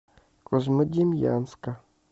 козьмодемьянска